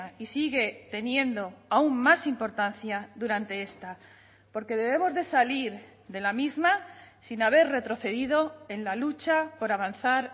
y sigue teniendo aún más importancia durante esta porque debemos de salir de la misma sin haber retrocedido en la lucha por avanzar